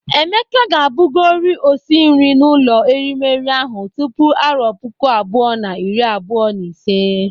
Emeka ga-abụgori osi nri n'ụlọ erimeri ahụ tupu arọ puku abụọ na iri abụọ na ise.